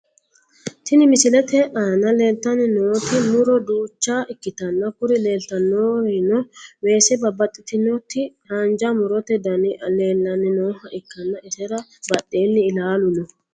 Tini misilete aan leeltani nooti muro duucha ikitanna kuri leeltanorino weese babaxitinoti haanja murote dani leelani nooha ikanna isera badheeni ilaalu no.